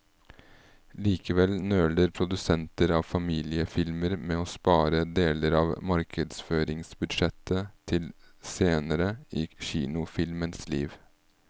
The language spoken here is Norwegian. Likevel nøler produsenter av familiefilmer med å spare deler av markedsføringsbudsjettet til senere i kinofilmens liv.